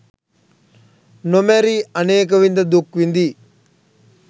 නොමැරී අනේක විධ දුක් විඳී